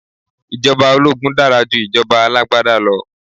Ìjọba ológun dára ju ìjọba alágbádá lọ